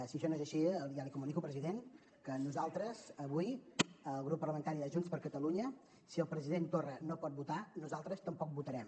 si això no és així ja li comunico president que nosaltres avui el grup parlamentari de junts per catalunya si el president torra no pot votar nosaltres tampoc votarem